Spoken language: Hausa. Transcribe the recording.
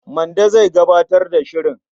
Mande zai gabatar da shirin.